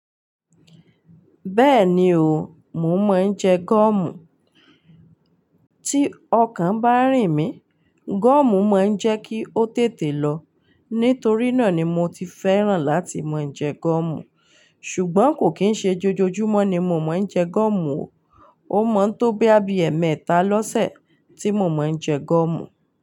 Bẹ́ẹ̀ni o, mo mọ ń jẹ gọ́ọ̀mù. Tí ọkàn bá rìn mí, gọ́ọ̀mù máa ń jẹ́ kí ó tètè lọ. Nítorí náà ni mo ti fẹ́ràn láti mo ń jẹ gọ́ọ̀mù. Ṣùgbọ́n kò kí ń ṣe jójójúmọ́ ni mo mọ ń jẹ gọ́ọ̀mù o. Ó mọ tó bí i ẹmẹ̀ẹ́ta lọ́sẹ̀ tí mo mọ ń jẹ gọ́ọ̀mù.